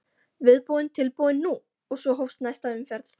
Viðbúinn, tilbúinn- nú! og svo hófst næsta umferð.